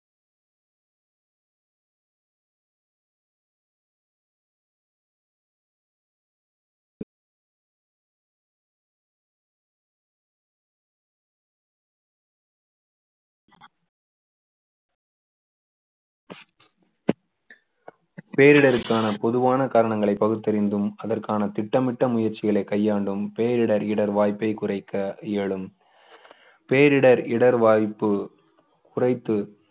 பேரிடருக்கான பொதுவான காரணங்களை பகுத்தறிந்தும் அதற்கான திட்டமிட்ட முயற்சிகளை கையாண்டும் பேரிடர் இடர் வாய்ப்பை குறைக்க எழும் பேரிடர் இடர்வாய்ப்பு குறைத்து